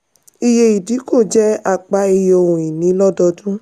iye ìdínkù jẹ́ apá iye ohun-ìní lọ́dọdún.